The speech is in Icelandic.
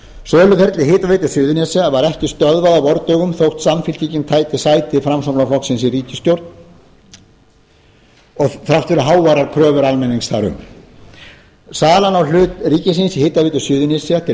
söluferli hitaveitu suðurnesja var ekki stöðvar á vordögum þótt samfylkingin tæki sæti framsóknarflokksins í ríkisstjórn og þrátt fyrir háværar kröfur almennings þar um salan á hlut ríkisins í hitaveitu suðurnesja til